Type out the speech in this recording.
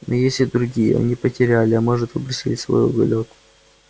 но есть и другие они потеряли а может выбросили свой уголёк